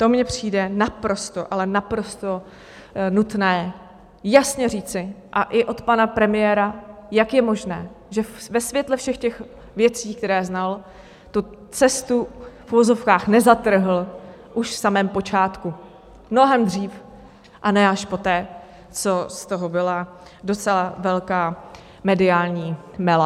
To mně přijde naprosto, ale naprosto nutné jasně říci, a i od pana premiéra, jak je možné, že ve světle všech těch věcí, které znal, tu cestu v uvozovkách nezatrhl už v samém počátku, mnohem dřív, a ne až poté, co z toho byla docela velká mediální mela.